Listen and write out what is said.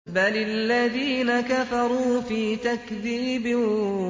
بَلِ الَّذِينَ كَفَرُوا فِي تَكْذِيبٍ